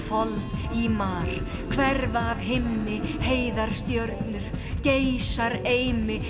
fold í mar hverfa af himni heiðar stjörnur geysar eimi